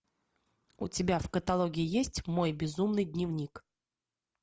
у тебя в каталоге есть мой безумный дневник